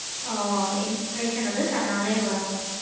ஆஹ் inspiration வந்து தன்னாலையும் வரும்.